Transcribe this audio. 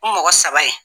U mɔgɔ saba ye